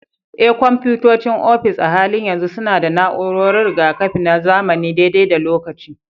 Eh, kwamfutocin ofis a halin yanzu suna da na'urar riga-kafi na zamani dai-dai da lokaci.